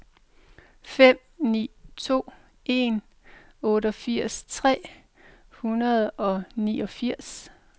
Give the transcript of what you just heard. fem ni to en otteogfirs tre hundrede og niogfirs